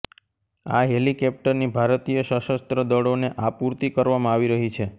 આ હેલીકેપ્ટરની ભારતીય સશસ્ત્ર દળોને આપૂર્તિ કરવામાં આવી રહી છે